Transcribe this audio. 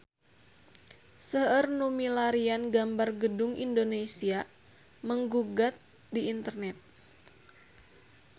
Seueur nu milarian gambar Gedung Indonesia Menggugat di internet